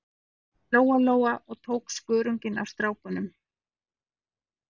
Lóa-Lóa og tók skörunginn af stráknum.